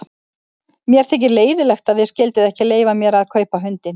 Mér þykir leiðinlegt að þið skylduð ekki leyfa mér að kaupa hundinn.